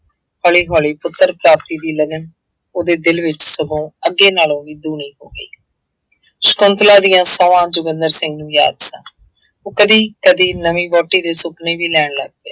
ਹੌਲੀ ਹੌਲੀ ਪੁੱਤਰ ਪ੍ਰਾਪਤੀ ਦੀ ਲਗਨ ਉਹਦੇ ਦਿਲ ਵਿੱਚ ਸਗੋਂ ਅੱਗੇ ਨਾਲੋਂ ਵੀ ਦੂਣੀ ਹੋ ਗਈ। ਸ਼ੰਕੁਤਲਾ ਦੀਆਂ ਸਹੁੰਆਂ ਜੋਗਿੰਦਰ ਸਿੰਘ ਨੂੰ ਯਾਦ ਸਨ। ਉਹ ਕਦੀ ਕਦੀ ਨਵੀਂ ਵਹੁਟੀ ਦੇ ਸੁਪਨੇ ਵੀ ਲੈਣ ਲੱਗ ਗਿਆ।